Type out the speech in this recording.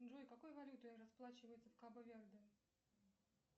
джой какой валютой расплачиваются в кабо верде